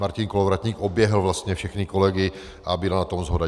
Martin Kolovratník oběhl vlastně všechny kolegy a byla na tom shoda.